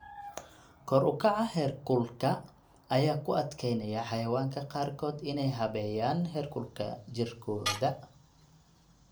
Kor u kaca heerkulka ayaa ku adkeynaya xayawaanka qaarkood inay habeeyaan heerkulka jirkooda.